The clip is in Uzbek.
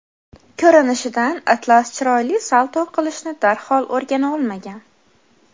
Ko‘rinishidan, Atlas chiroyli salto qilishni darhol o‘rgana olmagan.